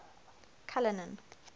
cullinan